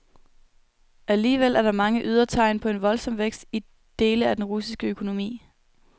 Alligevel er der mange ydre tegn på en voldsom vækst i dele af den russiske økonomi.